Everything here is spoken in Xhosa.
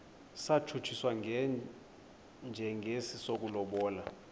satshutshiswa njengesi sokulobola